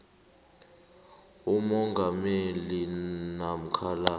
ummangalelwa namkha la